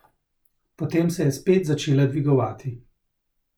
Potem se je spet začela dvigovati.